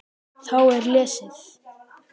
Þá er lesið